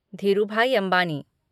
Dhirubhai Ambani